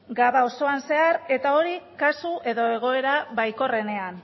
gau osoan zehar eta hori kasu edo egoera baikorrenean